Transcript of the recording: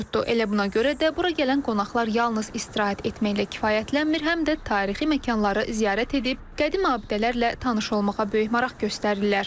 Elə buna görə də bura gələn qonaqlar yalnız istirahət etməklə kifayətlənmir, həm də tarixi məkanları ziyarət edib qədim abidələrlə tanış olmağa böyük maraq göstərirlər.